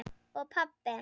og pabbi.